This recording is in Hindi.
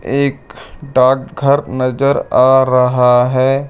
एक डाकघर नजर आ रहा है।